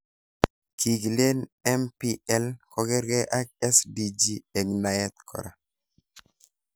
Kii kilen MPL kokarkei ak SDG eng naet kora.